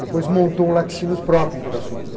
Depois montou um laticínios próprio em Pirassununga.